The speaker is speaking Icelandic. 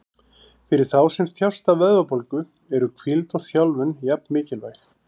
Fyrir þá sem þjást af vöðvabólgu eru hvíld og þjálfun jafn mikilvæg.